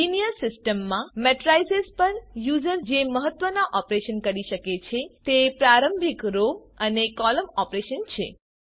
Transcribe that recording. linear systems માં matrices પર user જે મહત્વના ઓપરેશન કરી શકે છે તે પ્રારંભિક રો અને કૉલમ ઓપરેશન છે